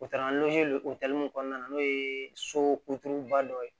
O taara o kɔnɔna na n'o ye so ba dɔ ye